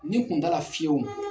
Ni kun t'a la fiyewu